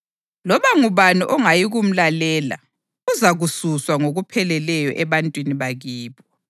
Loba ngubani ongayikumlalela uzakususwa ngokupheleleyo ebantwini bakibo.’ + 3.23 UDutheronomi 18.15, 18, 19